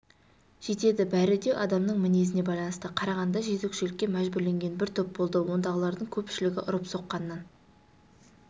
жетеді бәрі де адамның мінезіне байланысты қарағандыда жезөкшелікке мәжбүрленген бір топ болды ондағылардың көпшілігі ұрып-соққаннан